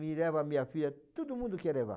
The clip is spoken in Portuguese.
E leva minha filha, todo mundo quer levar.